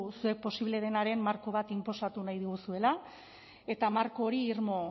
zer posible denaren marko bat inposatu nahi diguzuela eta marko hori irmo